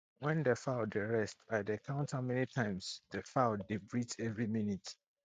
when the fowl dey rest i dey count how many times the fowl dey breathe every minute